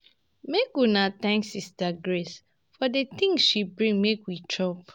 Make una thank sister Grace for the things she bring make we chop.